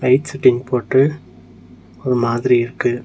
Light setting போட்டு ஒரு மாதிரி இருக்கு.